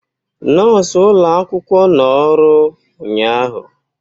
Nọọsụ ụlọ akwụkwọ nọ ọrụ ụnyaahụ